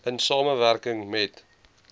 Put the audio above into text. in samewerking met